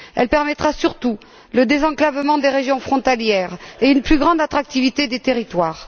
Elle permettra surtout le désenclavement des régions frontalières et une plus grande attractivité des territoires.